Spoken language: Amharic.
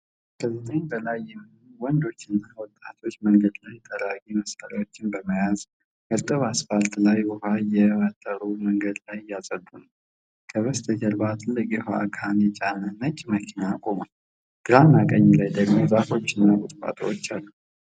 ከዘጠኝ በላይ የሚሆኑ ወንዶችና ወጣቶች መንገድ ጠራጊ መሣሪያዎችን በመያዝ እርጥብ አስፋልት ላይ ውሃ እየመጠሩ መንገድ እያጸዱ ነው። በስተጀርባ ትልቅ የውሃ ጋን የጫነ ነጭ መኪና ቆሟል። ግራና ቀኝ ላይ ደግሞ ዛፎች እና ቁጥቋጦዎች አሉ።